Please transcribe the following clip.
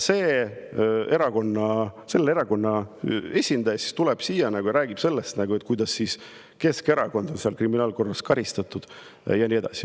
Ja selle erakonna esindaja tuleb pulti ja räägib sellest, kuidas Keskerakond on kriminaalkorras karistatud, ja nii edasi.